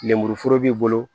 Lemuru foro b'i bolo